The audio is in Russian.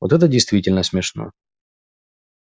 вот это действительно смешно